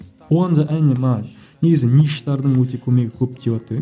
негізі ниш тардың өте көп көмегі